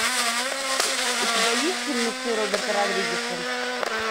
у тебя есть фильмецы роберта родригеса